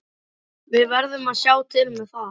Við verðum að sjá til með það.